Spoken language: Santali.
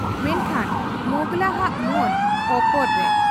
ᱢᱮᱱᱠᱷᱟᱱ ᱢᱚᱸᱜᱽᱞᱟ ᱦᱟᱜ ᱢᱚᱱ ᱚᱯᱚᱨ ᱨᱮ ᱾